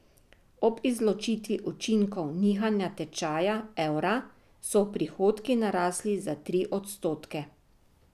Ob izločitvi učinkov nihanja tečaja evra so prihodki narasli za tri odstotke.